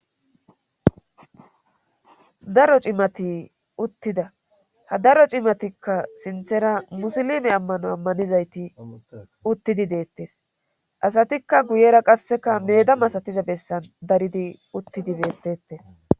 daro cimati uttida ha daro cimatikka sinthera musilime ammano ammanizayti uttidi deettes asatikka guyera qasseka meda masatiza bessan daridi uttidi beteettes.